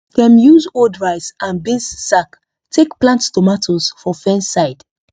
dem use old rice and beans sack take plant tomatoes for fence side